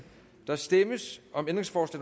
der stemmes